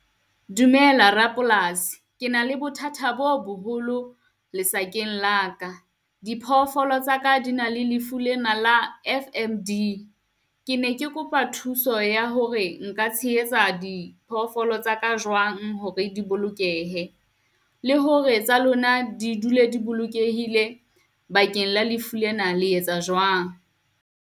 Dumela rapolasi, ke na le bothata bo boholo lesakeng la ka. Diphoofolo tsaka di na le lefu lena la F_M_D. Ke ne ke kopa thuso ya hore nka tshehetsa diphoofolo tsa ka jwang hore di bolokehe, le hore tsa lona di dule di bolokehile bakeng la lefu lena le etsa jwang?